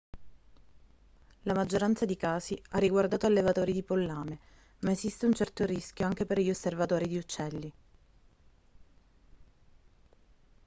la maggioranza di casi ha riguardato allevatori di pollame ma esiste un certo rischio anche per gli osservatori di uccelli